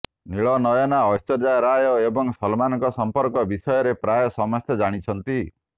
ନୀଳନୟନା ଐଶ୍ୱର୍ଯ୍ୟା ରାୟ ଏବଂ ସଲମାନଙ୍କ ସଂପର୍କ ବିଷୟରେ ପ୍ରାୟ ସମସ୍ତେ ଜାଣିଛନ୍ତି